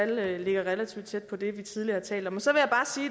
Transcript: det tal ligger relativt tæt på det vi tidligere har talt om så